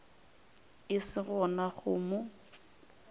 e se gona go no